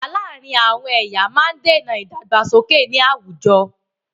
Ìjà láàrin àwọn ẹ̀yà máa ń dèna ìdàgbàsókè ní àwùjọ.